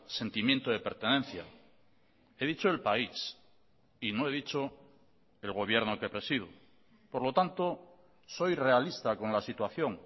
sentimiento de pertenencia he dicho el país y no he dicho el gobierno que presido por lo tanto soy realista con la situación